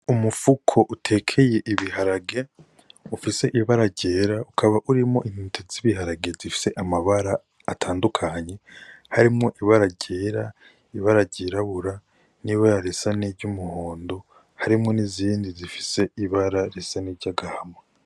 Umufuko utekeye ibiharage ufise ibara ryera, ukaba urimwo intete z'ibiharage zifise amabara atandukanye harimwo ibara ryera, ibara ryirabura n'ibara risa niry'umuhondo; harimwo n'izindi zifise ibara risa n'iry'agahama.